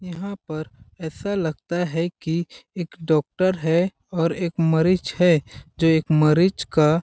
यहाँ पर ऐसा लगता है कि एक डॉक्टर है और एक मरीज है जो एक मरीज का--